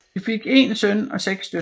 De fik én søn og seks døtre